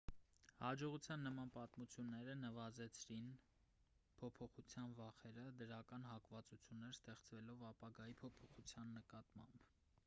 հաջողողության նման պատմությունները նվազեցրին փոփոխության վախերը դրական հակվածություններ ստեղծելով ապագայի փոփոխության նկատմամբ